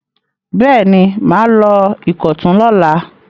Bẹ́ẹ̀ ni, mà á lọ Ìkọ̀tún lọ́la.